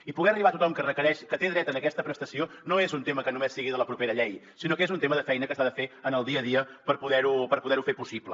i poder arribar a tothom que té dret a aquesta prestació no és un tema que només sigui de la propera llei sinó que és un tema de feina que s’ha de fer en el dia a dia per poder ho fer possible